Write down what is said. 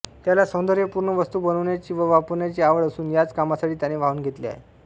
त्याला सौंदर्यपूर्ण वस्तू बनवण्याची व वापरण्याची आवड असून याच कामासाठी त्याने वाहून घेतले आहे